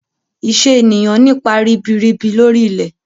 Iṣẹ́ ènìyàn nípa ribirib lori ilẹ̀.